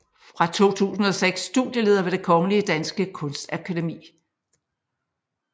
Fra 2006 studieleder ved det Kongelige Danske Kunstakademi